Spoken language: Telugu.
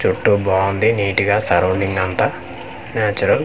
చుట్టూ బావుంది నీట్ గా సరౌండింగ్ అంతా న్యాచురల్ .